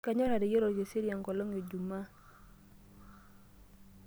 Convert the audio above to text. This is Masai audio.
Kanyorr ateyiara olkiseri enkolong' ejumaa.